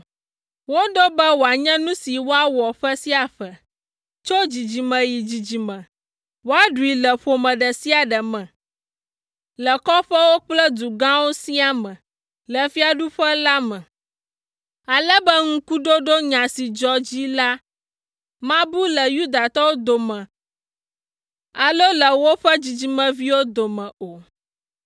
Woɖo be wòanye nu si woawɔ ƒe sia ƒe, tso dzidzime yi dzidzime, woaɖui le ƒome ɖe sia ɖe me, le kɔƒewo kple du gãwo siaa me le fiaɖuƒe la me, ale be ŋkuɖoɖo nya si dzɔ dzi la mabu le Yudatɔwo dome alo le woƒe dzidzimeviwo dome o.